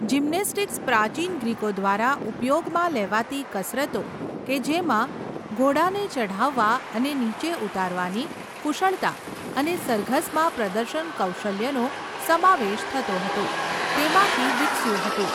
Gymnastics પ્રાચીન ગ્રીકો દ્વારા ઉપયોગમાં લેવાતી કસરતો, કે જેમાં ઘોડાને ચઢાવવા અને નીચે ઉતારવાની કુશળતા અને સરઘસમાં પ્રદર્શન કૌશલ્યોનો સમાવેશ થતો હતો, તેમાંથી વિકસ્યું હતું.